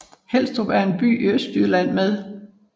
Helstrup er en landsby i Østjylland med